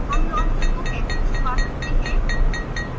how launcher को कैसे छिपा सकते हैं